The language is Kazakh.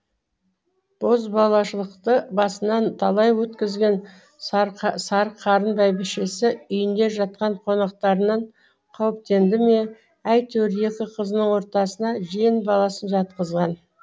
бозбалашылықты басынан талай өткізген сарықарын бәйбішесі үйінде жатқан қонақтарынан қауіптенді ме әйтеуір екі қызының ортасына жиен баласын жатқызған